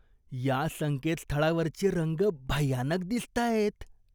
या संकेतस्थळावरचे रंग भयानक दिसतायत.